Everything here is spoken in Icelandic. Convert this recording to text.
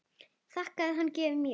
Þakkaði hann gjöfina mjög.